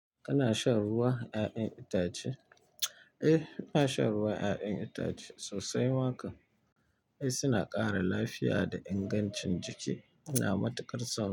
Kana shan ruwa ƴaƴan itace? Eh, ina shan ruwa ƴaƴan itace sosai. Wa, kan ai suna ƙara lafiya da ingancin jiki, ina matuƙar son.